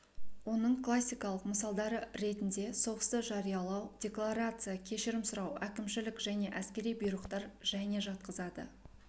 оның классикалық мысалдары ретінде соғысты жариялау декларация кешірім сұрау әкімшілік және әскери бұйрықтар және жатқызады